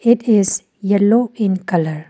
It is yellow in colour.